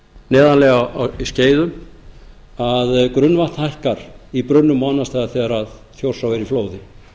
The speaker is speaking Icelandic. neðarlega í skeiðum að grunnvatn hækkar í brunnum og annars staðar þegar þjórsá er í flóði